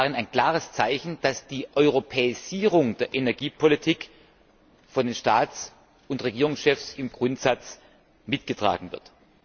Ich sehe darin ein klares Zeichen, dass die Europäisierung der Energiepolitik von den Staats und Regierungschefs im Grundsatz mitgetragen wird.